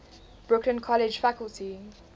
brooklyn college faculty